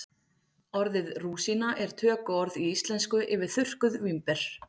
orðið rúsína er tökuorð í íslensku yfir þurrkuð vínber